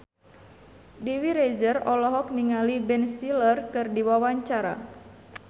Dewi Rezer olohok ningali Ben Stiller keur diwawancara